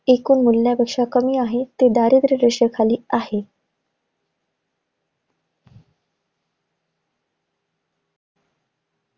एकूण मूल्यापेक्षा कमी आहे, ते दारिद्र्य रेषेखाली आहे.